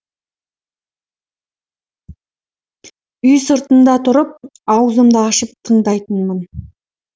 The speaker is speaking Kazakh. үй сыртында тұрып аузымды ашып тыңдайтынмын